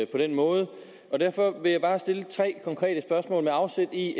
den måde derfor vil jeg bare stille tre konkrete spørgsmål med afsæt i